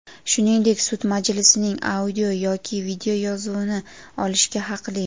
shuningdek sud majlisining audio- yoki videoyozuvini olishga haqli.